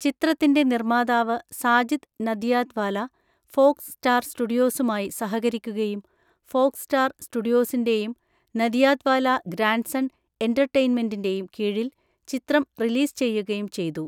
ചിത്രത്തിൻ്റെ നിർമ്മാതാവ് Sajid Nadiadwala, Fox Star സ്റ്റുഡിയോസുമായി സഹകരിക്കുകയും ഫോക്‌സ് സ്റ്റാർ സ്റ്റുഡിയോസിൻ്റെയും, നദിയാദ്‌വാല ഗ്രാൻഡ്‌സൺ എൻറ്റർടൈൻമെൻറ്റിൻ്റെയും, കീഴിൽ ചിത്രം റിലീസ് ചെയ്യുകയും ചെയ്തു.